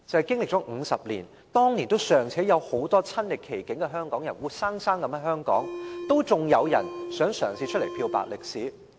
經歷了50年，很多當年親歷其境的香港人尚且仍活生生的在香港生活，竟然仍有人嘗試漂白歷史。